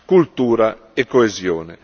cultura e coesione.